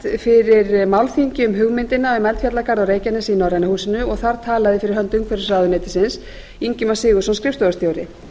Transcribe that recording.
fyrir málþingi um hugmyndina um eldfjallagarð á reykjanesi í norræna húsinu og þar talaði fyrir hönd umhverfisráðuneytisins ingimar sigurðsson skrifstofustjóri